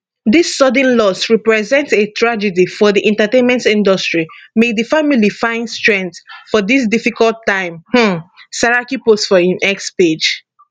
dis sudden loss repreent a tragedy for di entertainment industry may di family fin strength for dis difficult time um saraki post for im x page